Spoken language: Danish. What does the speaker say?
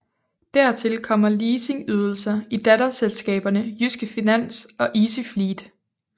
Dertil kommer leasingydelser i datterselskaberne Jyske Finans og Easyfleet